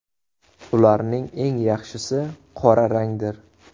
Ularning eng yaxshisi qora rangdir.